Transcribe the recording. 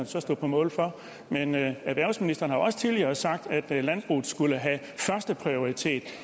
så stå på mål for erhvervsministeren har også tidligere sagt at landbruget skulle have førsteprioritet